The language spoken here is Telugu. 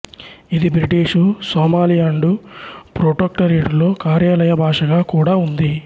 ఇది బ్రిటిషు సోమాలియాండు ప్రొటొక్టరేటులో కార్యాలయ భాషగా కూడా ఉంది